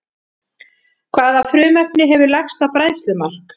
Hvaða frumefni hefur lægsta bræðslumark?